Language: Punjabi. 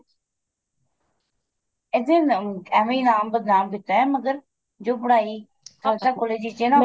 ਇਹਦੇ ਨੀਂ ਐਵੇ ਈ ਨਾਮ ਬਦਨਾਮ ਕੀਤਾ ਮਗਰ ਜੋ ਪੜ੍ਹਾਈ ਖਾਲਸਾ college ਵਿੱਚ ਏ ਨਾ